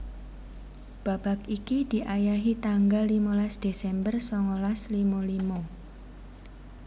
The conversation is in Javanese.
Babak iki diayahi tanggal limolas Desember songolas limo limo